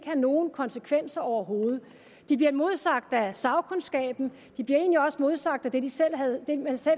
have nogen konsekvenser overhovedet de bliver modsagt af sagkundskaben og de bliver egentlig også modsagt af det de selv